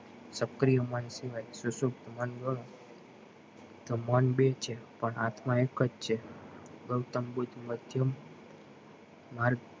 સક્રિય મન સિવાય સુસુક્ત મન ગણો તો મન બેજ છે પણ આત્મા એકજ છે ગૌતમ બુદ્ધ માં જેમ મન